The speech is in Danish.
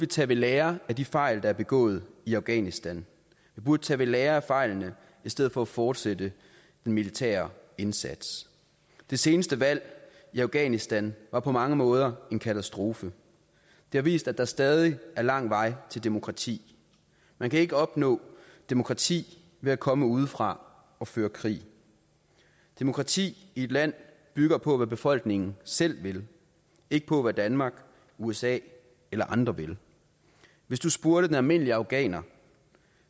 tage ved lære af de fejl der er begået i afghanistan vi burde tage ved lære af fejlene i stedet for at fortsætte den militære indsats det seneste valg i afghanistan var på mange måder en katastrofe det har vist at der stadig er lang vej til demokrati man kan ikke opnå demokrati ved at komme udefra og føre krig demokrati i et land bygger på hvad befolkningen selv vil ikke på hvad danmark usa eller andre vil hvis du spurgte almindelige afghanere